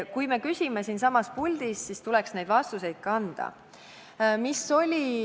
Kui me küsime siin saalis, siis tuleks neid vastuseid ka siin anda.